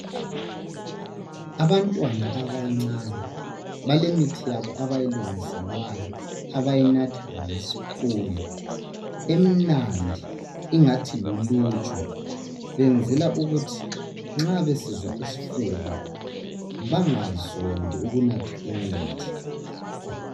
Abantwana abancane balemithi yabo abayilungiselwayo abayinatha ngesipunu emnandi engathi luluju benzela ukuthi nxa besizwa isifuba bangazondi ukunatha imithi